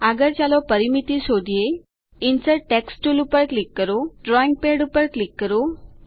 આગળ ચાલો પરિમિતિ શોધીએ ઇન્સર્ટ ટેક્સ્ટ ટુલ પર ક્લિક કરો ડ્રોઈંગ પેડ પર ક્લિક કરો